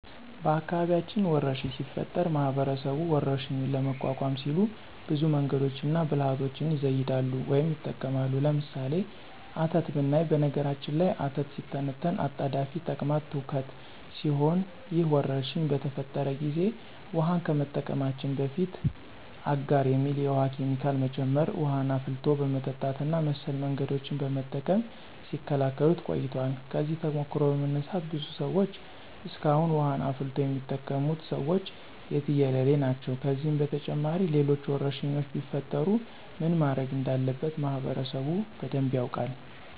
በአካባቢያችን ወረርሽኝ ሲፈጠር ማህበረሰቡ ወረርሽኙን ለመቋቋም ሲሉ ብዙ መንገዶችንና ብልሀቶችን ይዘይዳሉ ወይም ይጠቀማሉ። ለምሳሌ፦ አተት ብናይ በነገራችን ላይ አተት ሲተነተን አጣዳፊ ተቅማጥ ትውከት ሲሆን ይህ ወረርሽኝ በተፈጠረ ጊዜ ውሀን ከመጠቀማችን በፊት አጋር የሚባል የውሀ ኬሚካል መጨመር፣ ውሀን አፍልቶ በመጠጣት እና መሰል መንገዶችን በመጠቀም ሲከላከሉት ቆይተዋል። ከዚህ ተሞክሮ በመነሳት ብዙ ሰዎች እስካሁን ውሀን አፍልቶ የሚጠቀሙት ሰዎች የትየለሌ ናቸው። ከዚህም በተጨማሪ ሌሎች ወረርሽኞች ቢፈጠሩ ምን ማድረግ እንዳለበት ማህበረሰቡ በደንብ ያውቃል።